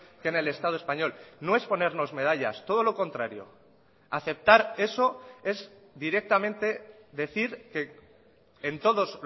que en el estado español no es ponernos medallas todo lo contrario aceptar eso es directamente decir que en todos